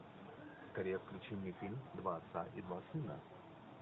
скорее включи мне фильм два отца и два сына